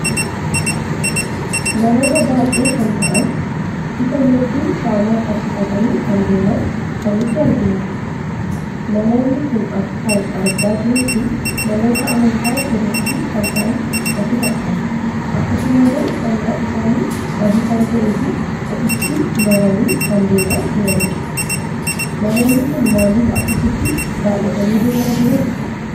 Namoota baay'ee kan ta'an, ifa yookiin shaama qabsiifatani kan deeman kan nuti arginudha. Namoonni kun akkan argaa jirutti namoota amantaa ortodooksii kan ta'an natti fakkata. Akkasumallee, uffannan isaanii adii kan ta'ee fi ofitti marani kan deema jitanidha. Namoonni kun maaliif akkasitti baay'atani deema jiru?